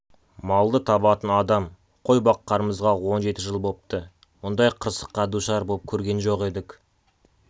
малды табатын адам ой баққанымызға он жеті жыл бопты мұндай қырсыққа душар боп көрген жоқ едік